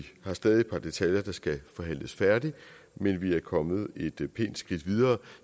har stadig et par detaljer der skal forhandles færdigt men vi er kommet et pænt skridt videre